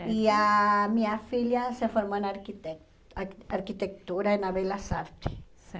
E a minha filha se formou na arquite ar arquitetura na Belas Artes.